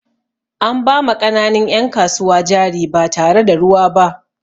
An ba ma ƙananun 'yan kasuwa jari ba tare da ruwa ba.